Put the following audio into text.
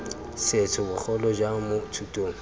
setho bogolo jang mo thutong